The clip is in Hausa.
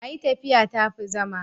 a yi tafiya ta fi zama